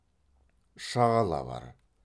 шағала бар